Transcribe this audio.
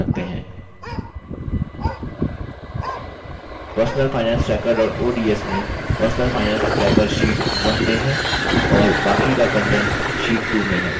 personalfinancetracker ods में personal finance tracker sheet 1 में है और बाकी का कंटेंट्स sheet 2 में है